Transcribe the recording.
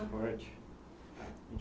Esporte.